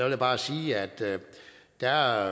jeg bare sige at der